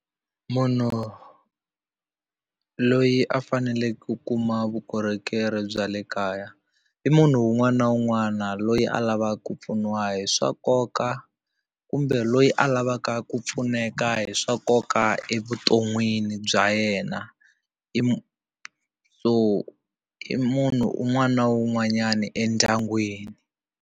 Munhu loyi a faneleke ku kuma vukorhokeri bya le kaya i munhu un'wana na un'wana loyi a lavaka ku pfuniwa hi swa nkoka kumbe kumbe loyi a lavaka ku pfuneka hi swa nkoka evuton'wini bya yena so i munhu un'wana na un'wanyana endyangwini.